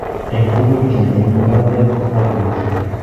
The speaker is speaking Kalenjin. En tugul, kiiy ne iime makatet konyalu kicher